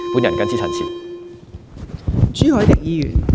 我謹此陳辭。